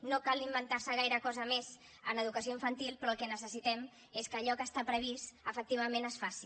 no cal inventar se gaire cosa més en educació infantil però el que necessitem és que allò que està previst efectivament es faci